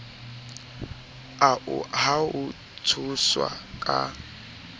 ao a ho tshoswa ka